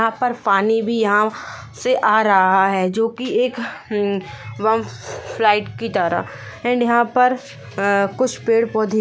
यहाँ पर पानी भी यहाँ से आ रहा है जो की एक की तरह एंड यहाँ पर अ कुछ पेड़ पौधे--